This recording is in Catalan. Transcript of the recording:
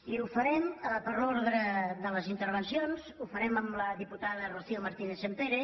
i ho farem per l’ordre de les intervencions amb la diputada rocío martínez sampere